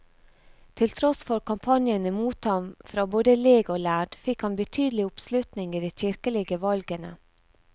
Til tross for kampanjene mot ham fra både leg og lærd, fikk han betydelig oppslutning i de kirkelige valgene.